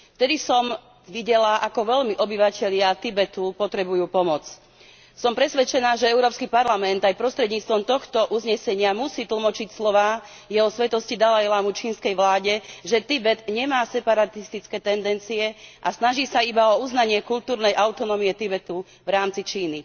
Vtedy som videla, ako veľmi obyvatelia Tibetu potrebujú pomoc. Som presvedčená, že Európsky parlament aj prostredníctvom tohto uznesenia musí tlmočiť slová Jeho Svätosti dalajlámu čínskej vláde, že Tibet nemá separatistické tendencie a snaží sa iba o uznanie kultúrnej autonómie Tibetu v rámci Číny.